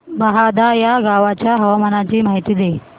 बहादा या गावाच्या हवामानाची माहिती दे